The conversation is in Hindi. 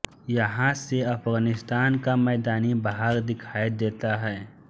यहाँ से अफगानिस्तान का मैदानी भाग दिखाई देता है